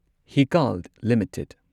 Hikal limited